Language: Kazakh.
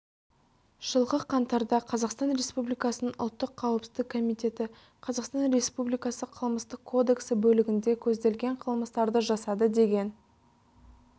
жылғы қаңтарда қазақстан республикасының ұлттық қауіпсіздік комитеті қазақстан республикасы қылмыстық кодексі бөлігінде көзделген қылмыстарды жасады деген